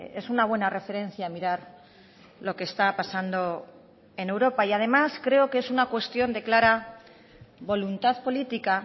es una buena referencia mirar lo que está pasando en europa y además creo que es una cuestión de clara voluntad política